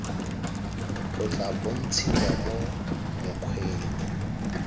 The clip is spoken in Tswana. o tla bontshiwa mo mokgweng